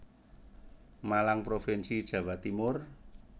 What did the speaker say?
Malang Provinsi Jawa Timur